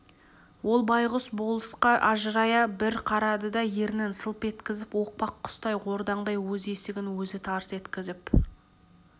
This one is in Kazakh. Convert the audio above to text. ол байғұс болысқа ажырая бір қарады да ернін сылп еткізіп оқпақ құстай ордаңдай өз есігін өзі тарс еткізіп